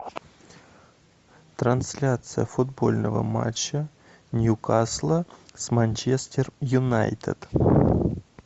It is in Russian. трансляция футбольного матча ньюкасла с манчестер юнайтед